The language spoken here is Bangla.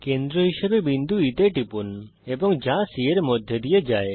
কেন্দ্র হিসাবে বিন্দুE তে টিপুন এবং যা C এর মধ্যে দিয়ে যায়